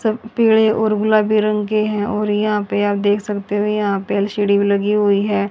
सब पीड़े और गुलाबी रंग के हैं और यहां पे आप देख सकते हो यहां पे एल_सी_डी भी लगी हुई है।